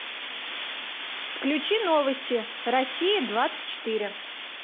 включи новости россия двадцать четыре